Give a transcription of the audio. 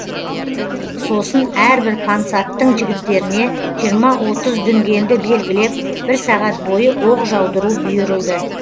сосын әрбір пансаттың жігіттеріне жиырма отыз дүнгенді белгілеп бір сағат бойы оқ жаудыру бұйырылды